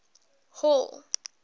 hall